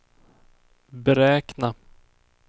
beräkna